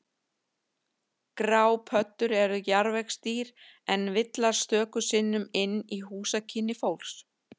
Grápöddur eru jarðvegsdýr en villast stöku sinnum inn í húsakynni fólks.